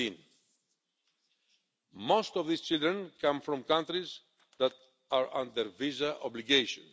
and 17. Most of these children come from countries that are under visa obligation.